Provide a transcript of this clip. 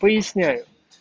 поясняю